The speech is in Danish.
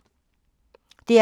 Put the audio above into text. DR P2